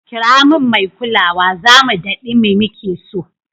Kira min mai kulawa, zamu daɗi mai muke so.